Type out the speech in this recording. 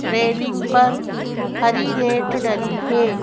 Railing पर हरी net डली है।